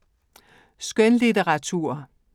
Skønlitteratur